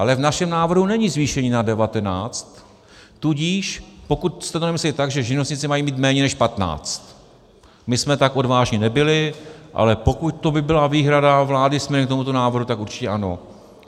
Ale v našem návrhu není zvýšení na 19, tudíž pokud jste to nemysleli tak, že živnostníci mají mít méně než 15, my jsme tak odvážní nebyli, ale pokud by to byla výhrada vlády směrem k tomuto návrhu, tak určitě ano.